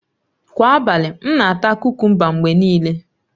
Kwa abalị, m na-ata kukumba mgbe niile